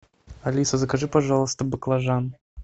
алиса закажи пожалуйста баклажан